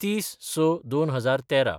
३०/०६/२०१३